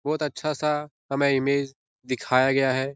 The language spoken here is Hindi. बहुत अच्छा-सा हमें इमेज दिखाया गया है ।